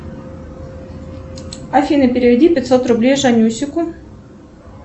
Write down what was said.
афина переведи пятьсот рублей жанюсику